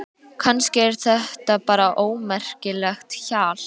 Kannski er þetta bara ómerkilegt hjal.